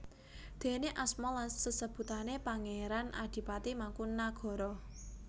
Déne asma lan sasebutané Pangéran Adipati Mangkunagara